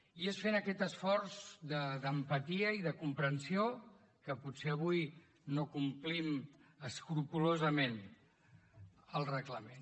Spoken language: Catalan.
i és fent aquest esforç d’empatia i de comprensió que potser avui no complim escrupolosament el reglament